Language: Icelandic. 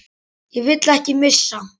Þig vil ég ekki missa.